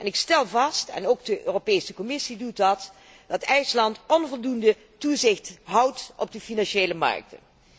Ik stel vast en ook de Europese Commissie doet dat dat IJsland onvoldoende toezicht houdt op de financiële markten.